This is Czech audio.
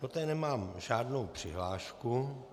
Do té nemám žádnou přihlášku.